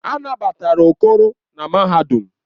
A nabatara Okoro na mahadum.